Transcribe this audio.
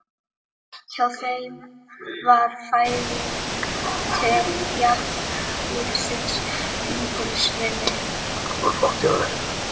Hjá þeim var fæðing til jarðlífsins lítils virði.